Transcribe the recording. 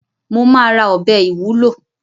Mo ma ra ọbẹ̀ ìwúlò